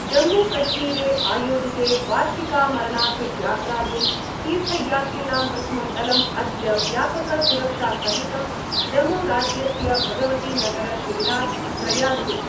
जम्मूकश्मीरे आयोजिते वार्षिकामरनाथयात्रायै तीर्थयात्रिणां प्रथमं दलम् अद्य व्यापकसुरक्षासहितं जम्मूराज्यस्य भगवतीनगरशिविरात् प्रयास्यति।